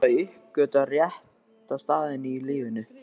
Núna átti ég að hafa uppgötvað rétta staðinn í lífinu.